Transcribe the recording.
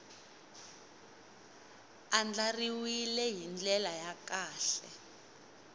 andlariwile hi ndlela ya kahle